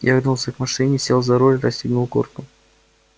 я вернулся к машине сел за руль расстегнул куртку